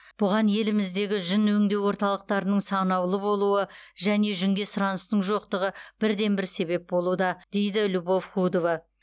бұған еліміздегі жүн өңдеу орталықтарының санаулы болуы және жүнге сұраныстың жоқтығы бірден бір себеп болуда дейді любовь худова